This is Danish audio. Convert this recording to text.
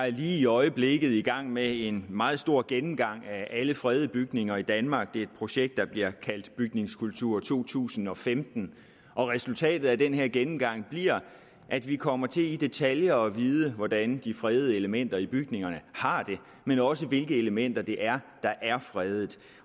lige i øjeblikket i gang med en meget stor gennemgang af alle fredede bygninger i danmark det er et projekt der bliver kaldt bygningskultur to tusind og femten og resultatet af den her gennemgang bliver at vi kommer til i detaljer at vide hvordan de fredede elementer i bygningerne har det men også hvilke elementer det er der er fredet